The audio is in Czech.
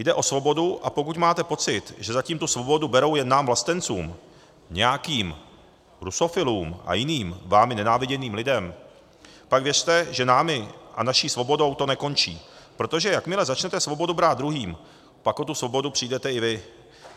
Jde o svobodu, a pokud máte pocit, že zatím tu svobodu berou jen nám vlastencům, nějakým rusofilům a jiným vámi nenáviděným lidem, pak věřte, že námi a naší svobodou to nekončí, protože jakmile začnete svobodu brát druhým, pak o tu svobodu přijdete i vy.